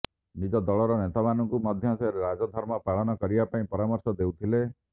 ନିଜ ଦଳର ନେତାମାନଙ୍କୁ ମଧ୍ୟ ସେ ରାଜଧର୍ମ ପାଳନ କରିବା ପାଇଁ ପରାମର୍ଶ ଦେଉଥିଲେ